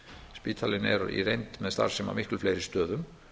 spítalinn er í reynd með starfssemi á miklu fleiri stöðum